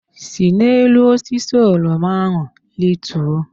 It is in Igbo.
Si n'elu osisi oroma ahụ rituo!